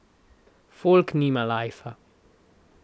Folk nima lajfa.